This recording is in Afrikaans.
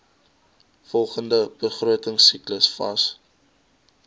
volgende begrotingsiklus vas